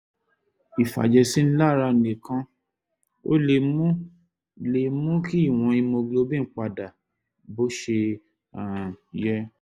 ìfàjẹ̀sínilára nìkan ò lè mú lè mú kí ìwọ̀n hemoglobin padà sí bó ṣe um yẹ